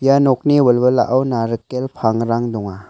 ia nokni wilwilao narikel pangrang donga.